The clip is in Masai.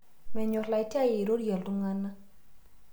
Menyor latiai airorie ltungana